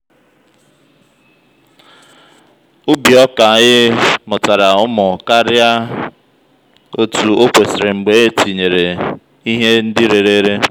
ubì ọ́kā anyị mụ̀tara úmù karía otú ókwèsìrì mgbè ètinye ihe ndi rèrèrè